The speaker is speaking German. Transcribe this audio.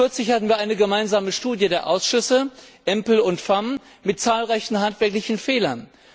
Kürzlich hatten wir eine gemeinsame Studie der Ausschüsse EMPL und FEMM mit zahlreichen handwerklichen Fehlern.